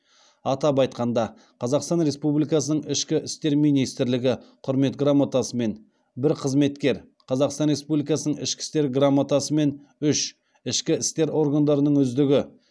атап айтқанда қазақстан республикасының ішкі істер министрлігі құрмет грамотасымен бір қызметкер қазақстан республикасының ішкі істер грамотасымен үш ішкі істер органдарының үздігі